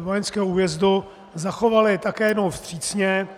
vojenského újezdu, zachovali také jednou vstřícně.